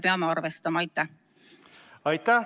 Aitäh!